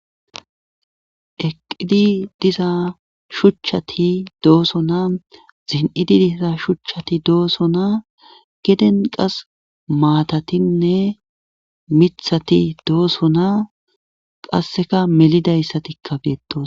eqqidi diza shuchchati dooso naa zin7idi diza shuchchati dooso naa geden qas maatatinne mithati dooso naa qasseka melidayssatikkabeetos